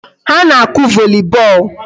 Ha na-akụ volley ball.